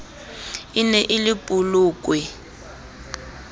e ne e le polokwe